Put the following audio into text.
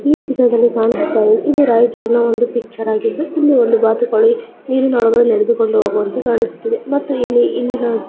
ಈ ಚಿತ್ರದಲ್ಲಿ ಕಾಣಿಸುತ್ತಿರುವುದು ಇದು ರಾಯಚೂರಿನ ಒಂದು ಪಿಚ್ಚರ ಆಗಿದ್ದು ಇಲ್ಲಿ ಒಂದು ಬಾತುಕೋಳಿ ನೀರಿನಲ್ಲಿ ನಡೆದುಕೊಂಡು ಹೋಗುವಂತೆ ಕಾಣಿಸುತ್ತಿದೆ ಮತ್ತು ಇಲ್ಲಿ ಇಲ್ಲಿನ --